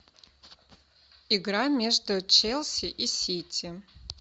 игра между челси и сити